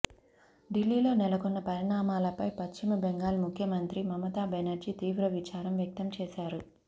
ఢిల్లీలో నెలకొన్న పరిణామాలపై పశ్చిమ బెంగాల్ ముఖ్యమంత్రి మమతా బెనర్జీ తీవ్ర విచారం వ్యక్తం చేశారు